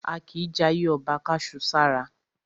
A kìí jayé ọba ká su sára.